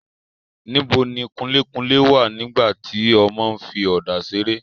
níbo ni kunlékunlé wà nígbà tí ọmọ ń fi ọ̀dà seré?